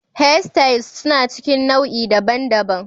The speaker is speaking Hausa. Hairstyles suna cikin nau'i daban-daban.